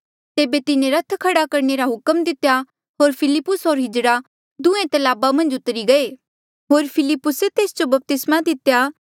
तेबे तिन्हें रथ खड़ा करणे रा हुक्म दितेया होर फिलिप्पुस होर किन्नर दुहें तलाब मन्झ उतरी गये होर फिलिप्पुस तेस जो बपतिस्मा दितेया